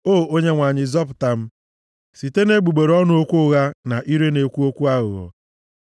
O Onyenwe anyị, zọpụta m site nʼegbugbere ọnụ okwu ụgha na ire na-ekwu okwu aghụghọ.